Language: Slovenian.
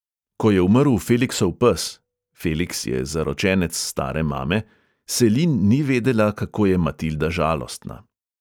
Ko je umrl feliksov pes – feliks je zaročenec stare mame – selin ni vedela, kako je matilda žalostna.